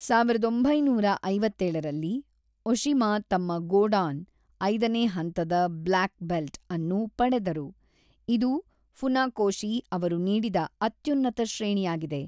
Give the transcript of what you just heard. ಸಾವಿರದ ಒಂಬೈನೂರ ಐವತ್ತೇಳರಲ್ಲಿ, ಒಶಿಮಾ ತಮ್ಮ ಗೋಡಾನ್ (ಐದನೇ ಹಂತದ ಬ್ಲ್ಯಾಕ್ ಬೆಲ್ಟ್ ) ಅನ್ನು ಪಡೆದರು, ಇದು ಫುನಾಕೋಶಿ ಅವರು ನೀಡಿದ ಅತ್ಯುನ್ನತ ಶ್ರೇಣಿಯಾಗಿದೆ.